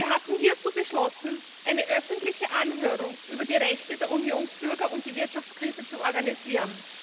Wir hatten hierzu beschlossen, eine öffentliche Anhörung über die Rechte der Unionsbürger und die Wirtschaftskrise zu organisieren.